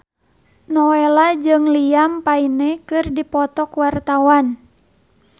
Nowela jeung Liam Payne keur dipoto ku wartawan